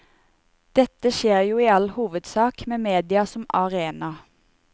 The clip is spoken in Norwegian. Dette skjer jo i all hovedsak med media som arena.